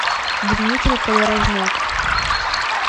дмитрий подорожняк